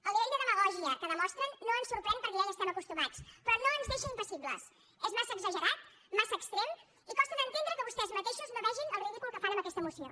el nivell de demagògia que demostren no ens sorprèn perquè ja hi estem acostumats però no ens deixa impassibles és massa exagerat massa extrem i costa d’entendre que vostès mateixos no vegin el ridícul que fan amb aquesta moció